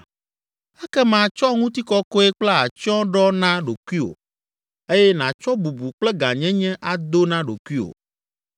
Ekema tsɔ ŋutikɔkɔe kple atsyɔ̃ ɖɔ na ɖokuiwò eye nàtsɔ bubu kple gãnyenye ado na ɖokuiwò.